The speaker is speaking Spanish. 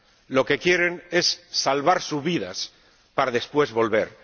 Lo que quieren es salvar sus vidas, para después volver.